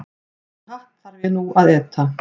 Þann hatt þarf ég nú að éta.